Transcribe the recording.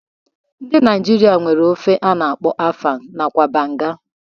Ndi Naijiria nwere ofe a na-akpọ afang nakwa banga.